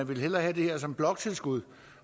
vil have det her som bloktilskud